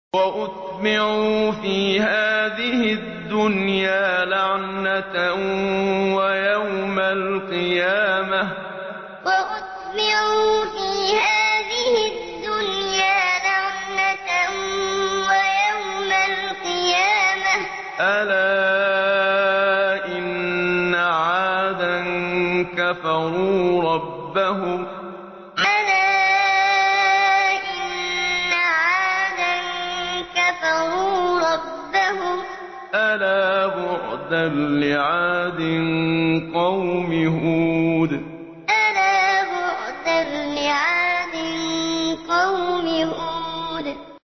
وَأُتْبِعُوا فِي هَٰذِهِ الدُّنْيَا لَعْنَةً وَيَوْمَ الْقِيَامَةِ ۗ أَلَا إِنَّ عَادًا كَفَرُوا رَبَّهُمْ ۗ أَلَا بُعْدًا لِّعَادٍ قَوْمِ هُودٍ وَأُتْبِعُوا فِي هَٰذِهِ الدُّنْيَا لَعْنَةً وَيَوْمَ الْقِيَامَةِ ۗ أَلَا إِنَّ عَادًا كَفَرُوا رَبَّهُمْ ۗ أَلَا بُعْدًا لِّعَادٍ قَوْمِ هُودٍ